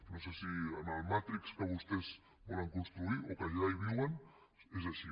no sé si amb el matrix que vostès volen construir o que ja hi viuen és així